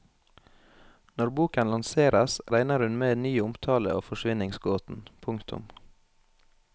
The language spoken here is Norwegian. Når boken lanseres regner hun med ny omtale av forsvinningsgåten. punktum